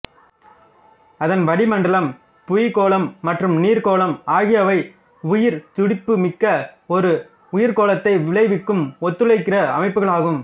அதன் வளிமண்டலம் புவிக்கோளம் மற்றும் நீர்க்கோளம் ஆகியவை உயிர்த்துடிப்புமிக்க ஒரு உயிர்க்கோளத்தை விளைவிக்கும் ஒத்துழைக்கிற அமைப்புகளாகும்